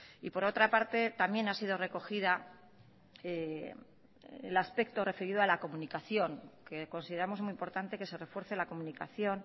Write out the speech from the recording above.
y por otra parte también ha sido recogida el aspecto referido a la comunicación que consideramos muy importante que se refuerce la comunicación